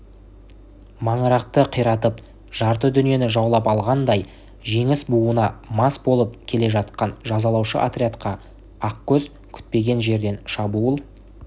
маңырақты қиратып жарты дүниені жаулап алғандай жеңіс буына мас болып келе жатқан жазалаушы отрядқа ақкөз күтпеген жерден шабуыл